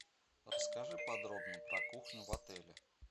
расскажи подробно про кухню в отеле